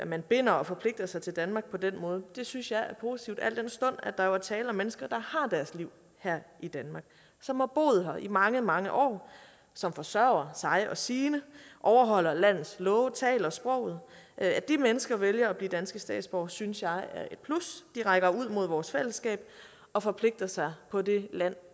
man binder og forpligter sig til danmark på den måde synes jeg er positivt al den stund at der jo er tale om mennesker der har deres liv her i danmark som har boet her i mange mange år som forsørger sig og sine overholder landets love taler sproget at de mennesker vælger at blive danske statsborgere synes jeg er et plus de rækker ud mod vores fællesskab og forpligter sig på det land